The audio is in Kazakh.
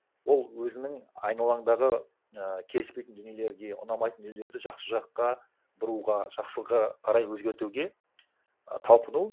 ол өзінің айналаңдағы і келіспейтін дүниелерге ұнамайтын дүниелерді жақсы жаққа бұруға жақсыға қарай өзгертуге і талпыну